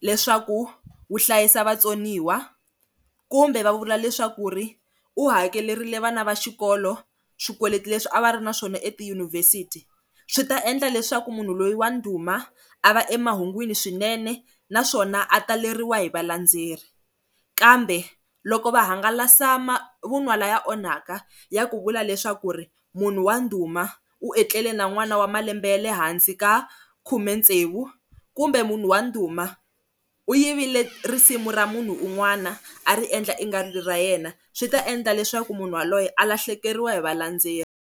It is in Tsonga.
leswaku wu hlayisa vatsoniwa kumbe va vula leswaku ri u hakerile vana va xikolo swikweleti leswi a va ri na swona etiyunivhesiti swi ta endla leswaku munhu loyi wa ndhuma a va emahungwini swinene naswona a taleriwa hi valendzeleri kambe loko va hangalasa lama vunwa na ya onhaka ya ku vula leswaku munhu wa ndhuma u etleli na n'wana wa malembe ya lehansi ka makhumetsevu hi ku kumbe munhu wa ndhuma u yivile risimu ra munhu un'wana a ri endla i nga ri ra yena swi ta endla leswaku munhu yaloye a lahlekeriwa hi va landzeleri.